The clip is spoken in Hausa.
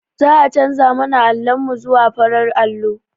Za'a canza mana allon mu zuwa farar allo.